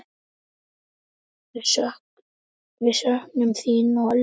Við söknum þín og elskum.